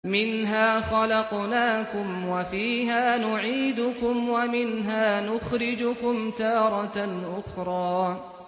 ۞ مِنْهَا خَلَقْنَاكُمْ وَفِيهَا نُعِيدُكُمْ وَمِنْهَا نُخْرِجُكُمْ تَارَةً أُخْرَىٰ